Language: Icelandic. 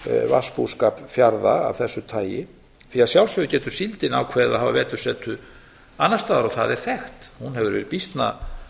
vatnsbúskap fjarða af þessu tagi því að sjálfsögðu getur síldin ákveðið að hafa vetursetu annars staðar og það er þekkt hún hefur verið býsna